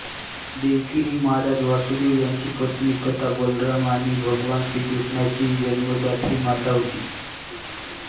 देवकी ही महाराज वसुदेव यांची पत्नी तथा बलराम आणि भगवान श्रीकृष्णाची जन्मदात्री माता होती